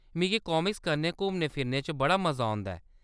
मिगी कामिक्स कन्नै घुम्मने-फिरने च बड़ा मजा औंदा ऐ।